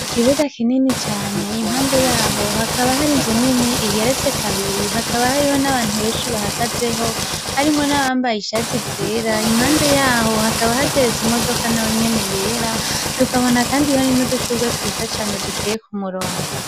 Ikibuga kinini cane impande yaho hakaba hari nzu nini igeretse kabiri hakaba hariho n'abantu benshi bahagazeho harimwo n'abambaye ishati zera impande yaho hakaba hateretse imodoka na we inyene yera dukabona, kandi honi no dushurwa twiza cane duteye ku murongo.